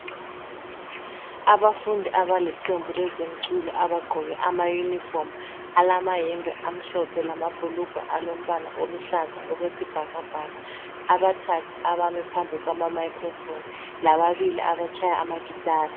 Abafundi abaliqembu lezemculo abagqoke amayunifomu balamayembe amhlophe lamabhulugwe alombala oluhlaza okwesibhakabhaka, abathathu abami phambi kwama microphone lababili abatshaya amagitari.